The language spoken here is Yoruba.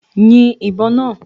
Yin ìbọn náà!